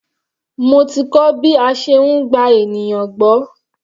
Mo ti kọ́ bí a ṣe ń gba ènìyàn gbọ́.